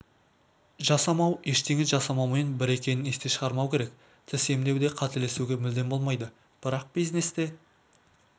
жасамау ештеңе жасамаумен бір екенін естен шығармау керек тіс емдеуде қателесуге мүлдем болмайды бірақ бизнесте